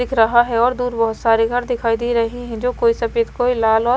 दिख रहा है और दूर बहोत सारे घर दिखाई दे रहे हैं जो कोई सफेद कोई लाल और--